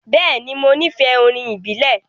Bẹẹni, Mo nifẹ orin ibile.